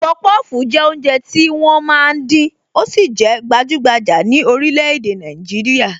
Popofu jẹ́ oúnjẹ tí wọ́n máa ń dín, ó sì jẹ gbajugbaja ni orílè-èdè Nàìjíríà